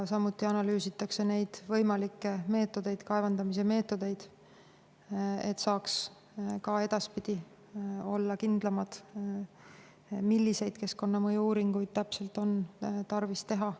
Samuti analüüsitakse võimalikke kaevandamise meetodeid, et saaks ka edaspidi olla kindlam, milliseid keskkonnamõju uuringuid täpselt on tarvis teha.